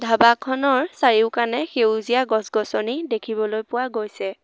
ধাবাখনৰ চাৰিওকানে সেউজীয়া গছ গছনি দেখিবলৈ পোৱা গৈছে।